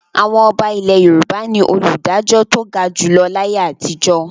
Àwọn ọba ilẹ̀ Yorùbá ni olùdájọ́ tó ga jù lọ láyé àtijọ́.